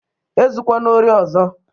Ezukwana ori ọzọ!